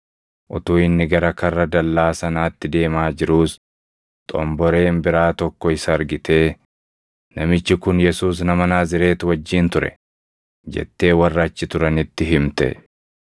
Utuu inni gara karra dallaa sanaatti deemaa jiruus xomboreen biraa tokko isa argitee, “Namichi kun Yesuus nama Naazreeti wajjin ture” jettee warra achi turanitti himte.